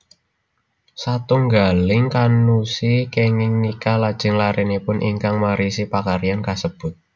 Satunggaling kannushi kenging nikah lajeng larenipun ingkang marisi pakaryan kasebut